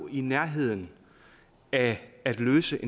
i nærheden af at løse